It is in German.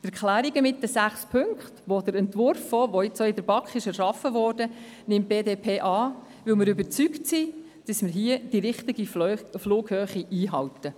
Die Erklärung mit den sechs Punkten gemäss dem Entwurf, wie er in der BaK erschaffen wurde, nimmt die BDP an, weil wir überzeugt sind, dass wir damit die richtige Flughöhe einhalten.